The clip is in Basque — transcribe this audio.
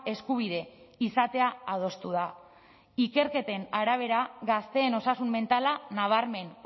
eskubide izatea adostu da ikerketen arabera gazteen osasun mentala nabarmen